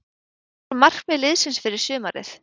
Hver voru markmið liðsins fyrir sumarið?